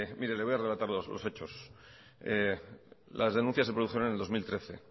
mire le voy a relatar los hechos las denuncias se produjeron en el dos mil trece